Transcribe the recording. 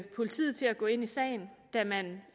politiet til at gå ind i sagen da man